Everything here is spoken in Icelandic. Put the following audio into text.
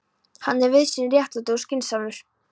Hann er víðsýnn, réttlátur og skynsamur.